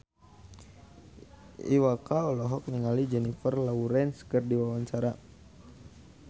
Iwa K olohok ningali Jennifer Lawrence keur diwawancara